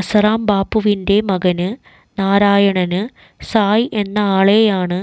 അസാറാം ബാപ്പുവിന്റെ മകന് നാരായണന് സായ് എന്ന ആളെയാണ്